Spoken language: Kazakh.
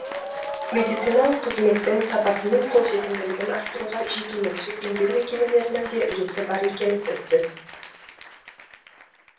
медициналық қызметтің сапасы мен қолжетімділігін арттыруға жекеменшік емдеу мекемелерінің де үлесі бар екені сөзсіз